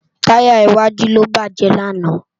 Tàyá iwàjú ló bájè làná